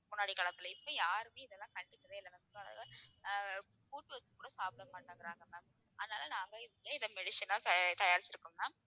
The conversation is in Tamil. முன்னாடி காலத்துல இப்ப யாருமே இதெல்லாம் கண்டுக்கவே இல்லை ஆஹ் கூட்டு வச்சு கூட சாப்பிட மாட்டேங்குறாங்க ma'am அதனால நாங்க இதுல இதை medicine ஆ தயா~ தயாரிச்சிருக்கோம் ma'am